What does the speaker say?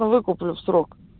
ну выкуплю в срок